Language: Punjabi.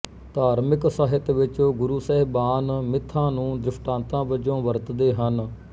ਧਾਰਮਿਕ ਸਾਹਿਤ ਵਿੱਚ ਗੁਰੂ ਸਹਿਬਾਨ ਮਿੱਥਾਂ ਨੂੰ ਦ੍ਰਿਸ਼ਟਾਂਤਾਂ ਵਜੋਂ ਵਰਤਦੇ ਹਨ